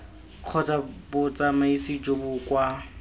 kgotsa botsamaisi jo bo kwa